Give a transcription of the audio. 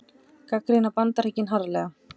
Gagnrýna Bandaríkin harðlega